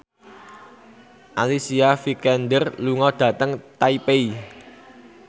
Alicia Vikander lunga dhateng Taipei